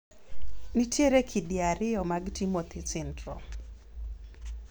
nitiere kidi ariyo mag Timothy syndrome